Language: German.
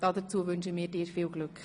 Dazu wünschen wir dir viel Glück.